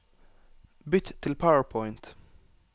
Bytt til PowerPoint